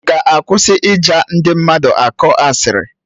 Ị ga-akwụsị ịja ndị mmadụ akọ asịrị?